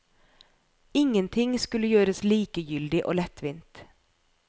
Ingenting skulle gjøres likegyldig og lettvint.